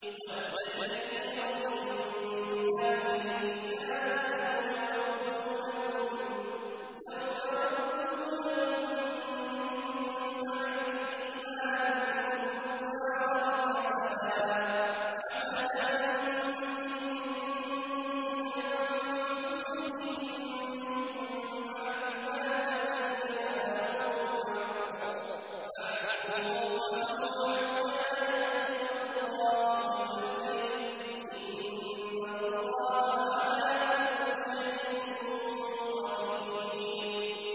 وَدَّ كَثِيرٌ مِّنْ أَهْلِ الْكِتَابِ لَوْ يَرُدُّونَكُم مِّن بَعْدِ إِيمَانِكُمْ كُفَّارًا حَسَدًا مِّنْ عِندِ أَنفُسِهِم مِّن بَعْدِ مَا تَبَيَّنَ لَهُمُ الْحَقُّ ۖ فَاعْفُوا وَاصْفَحُوا حَتَّىٰ يَأْتِيَ اللَّهُ بِأَمْرِهِ ۗ إِنَّ اللَّهَ عَلَىٰ كُلِّ شَيْءٍ قَدِيرٌ